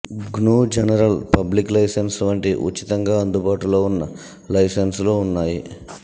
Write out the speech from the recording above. GNU general public license వంటి ఉచితంగా అందుబాటులో ఉన్న లైసెన్సులూ ఉన్నాయి